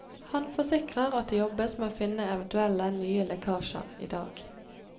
Han forsikrer at det jobbes med å finne eventuelle nye lekkasjer i dag.